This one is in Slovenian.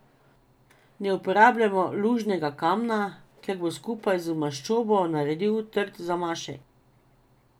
Ne uporabljajmo lužnega kamna, ker bo skupaj z maščobo naredil trd zamašek.